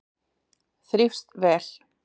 Þrífst vel.